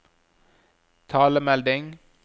talemelding